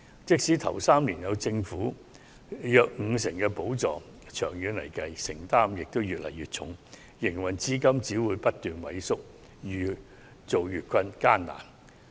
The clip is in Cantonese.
即使首3年有政府約五成補助，長遠來說，負擔會越來越重，營運資金只會不斷萎縮，經營越見艱難。